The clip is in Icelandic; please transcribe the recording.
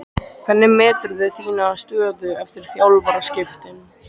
Hvernig meturðu þína stöðu eftir þjálfaraskiptin?